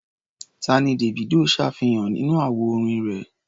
Tá ni Davido ṣàfihàn nínú àwo orin rẹ̀?